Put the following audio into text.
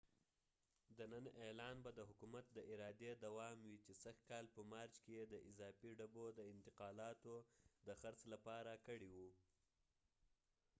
د نن اعلان به د حکومت د ارادي دوام وي چې سږ کال په مارچ کې یې د اضافی ډبو د انتقالاتو د خرڅ لپاره کړي و